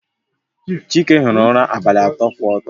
Chike hiri ụra abalị atọ kwụ ọtọ